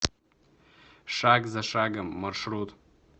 шаг за шагом маршрут